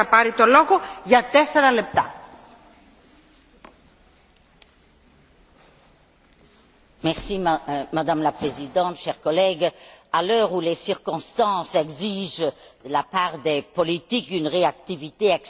Madame la Présidente, chers collègues, à l'heure où les circonstances exigent de la part des politiques une réactivité exceptionnelle, le dossier dont je vais vous entretenir démontre que la persévérance est également une vertu.